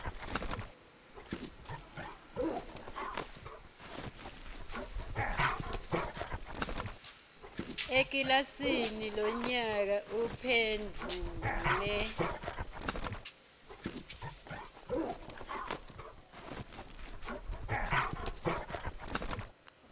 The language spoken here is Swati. ekilasini lonyaka uphendvule